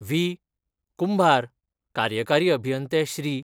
V, Kumbhar, कार्यकारी अभियंते श्री.